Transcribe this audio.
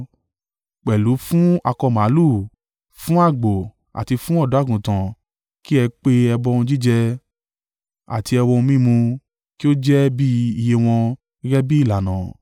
Pẹ̀lú fún akọ màlúù, fún àgbò, àti fún ọ̀dọ́-àgùntàn kí ẹ pe ẹbọ ohun jíjẹ, àti ẹbọ ohun mímu, kí ó jẹ́ bí iye wọn, gẹ́gẹ́ bí ìlànà.